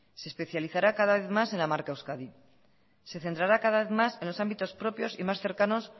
se especializará cada vez más en la marca euskadi se centrará cada vez más en los ámbitos propios y más cercanos